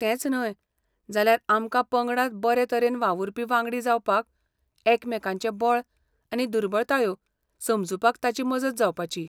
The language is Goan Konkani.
तेंच न्हय, जाल्यार आमकां पंगडात बरे तरेन वावुरपी वांगडी जावपाक, एकामेकांचें बळ आनी दुर्बळतायो समजुपाक ताची मजत जावपाची.